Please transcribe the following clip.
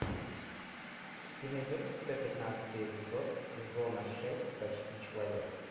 ты найдешь у себя пятнадцатый эпизод сезона шесть почти человек